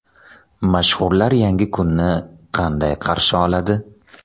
Mashhurlar yangi kunni qanday qarshi oladi?.